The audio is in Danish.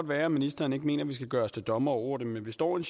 være at ministeren ikke mener at vi skal gøre os til dommere over det men vi står i